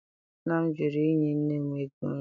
Nna m jụrụ inye nne m ego nri.